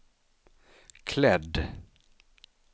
klädd